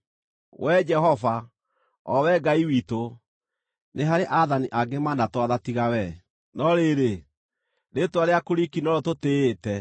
Wee Jehova, o Wee Ngai witũ, nĩ harĩ aathani angĩ manatwatha tiga wee, no rĩrĩ, rĩĩtwa rĩaku riiki norĩo tũtĩĩte.